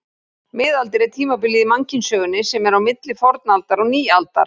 Miðaldir er tímabilið í mannkynssögunni sem er á milli fornaldar og nýaldar.